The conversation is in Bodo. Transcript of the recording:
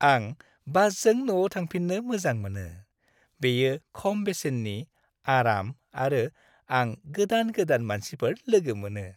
आं बासजों न'आव थांफिननो मोजां मोनो। बेयो खम बेसेननि, आराम आरो आं गोदान-गोदान मानसिफोर लोगो मोनो।